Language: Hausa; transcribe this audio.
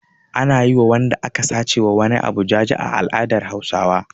Ana yi wa wanda aka sace wa wani abu jaje a al'adar Hausawa.